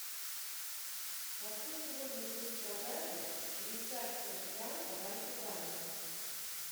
какой сегодня курс продажи швейцарского франка в альфа банке